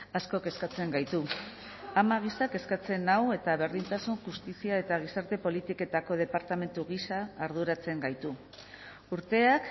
asko kezkatzen gaitu ama gisa kezkatzen nau eta berdintasun justizia eta gizarte politiketako departamentu gisa arduratzen gaitu urteak